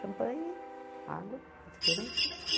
Champanhe, água, refrigerante